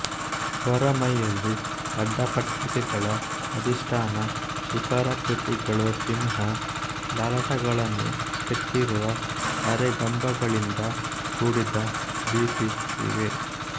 ಹೊರಮೈಯಲ್ಲಿ ಅಡ್ಡಪಟ್ಟಿಕೆಗಳ ಅಧಿಷ್ಠಾನ ಶಿಖರಾಕೃತಿಗಳು ಸಿಂಹ ಲಲಾಟಗಳನ್ನು ಕೆತ್ತಿರುವ ಅರೆಗಂಬಗಳಿಂದ ಕೂಡಿದ ಭಿತಿ ಇವೆ